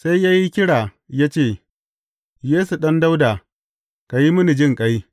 Sai ya yi kira ya ce, Yesu, Ɗan Dawuda, ka yi mini jinƙai!